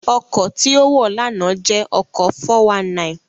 Ọkọ̀ tí ó wọ̀ lánàá jẹ́ ọkọ̀ 419